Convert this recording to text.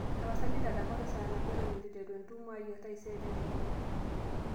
tapasali ntadamuaki saa nabo eton eituteru entumo ai e taisere tedekenya